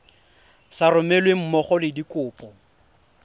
sa romelweng mmogo le dikopo